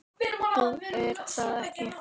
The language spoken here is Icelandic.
Jú, er það ekki?